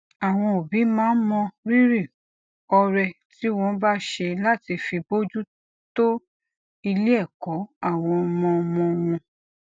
àwọn òbí wọn máa ń mọrírì ọrẹ tí wón bá ṣe láti fi bójú tó ilé èkó àwọn ọmọọmọ wọn